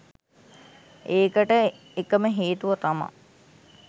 ඒකට එකම හේතුව තමා